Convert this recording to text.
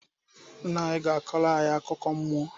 Nna anyi ga akuko mmuo